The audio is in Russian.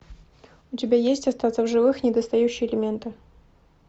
у тебя есть остаться в живых недостающие элементы